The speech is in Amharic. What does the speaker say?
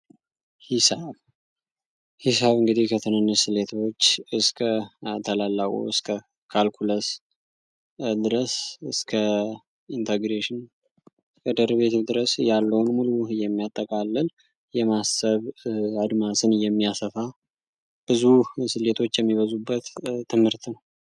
ሂሳብ እንግዲህ ከትንንስ ስሌቶች እስከ ተላላቁ እስከ ካልኩለስ ድረስ እስከ ኢንተግሬሽን ከደርቤት ድረስ ያለውን ሙሉህ የሚያጠቃለል የማሰብ አድማስን የሚያሰፋ ብዙ ስሌቶች የሚበዙበት ትምህርት ነው፡፡